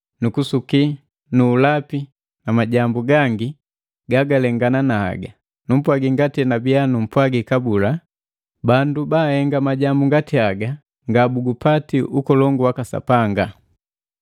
kusuki nu ulepi nu ulapi na majambu gangi gagalengana na haga. Numpwaji ngati enabiya numpwagi kabula, bandu baahenga majambu ngati haga, ngabugupati ukolongu waka Sapanga.